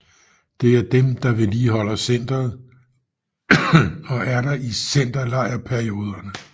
Det er dem der vedligholder centeret og er der i centerlejrperioderne